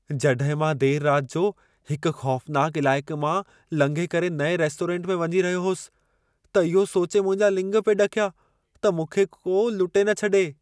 जॾहिं मां देर राति जो हिक ख़ौफनाक इलाइक़े मां लंघे करे नएं रेस्टोरेंट में वञी रहियो होसि, त इहो सोचे मुंहिंजा लिङ पिए ॾकिया, त मूंखे को लुटे न छॾे।